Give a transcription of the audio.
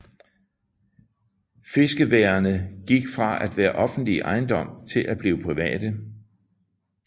Fiskeværene gik fra at være offentlig ejendom til at blive private